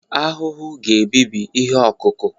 ahụhụ ga-ebibi ihe ọkụkụ